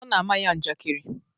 Ọ na-ama ya njakari.